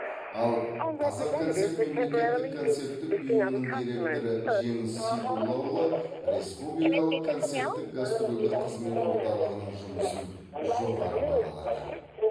ал қазақконцерт мемлекеттік концерттік ұйымының директоры жеңіс сейдуллаұлы республикалық концерттік гастрольдік қызмет орталығының жұмысын жоғары бағалады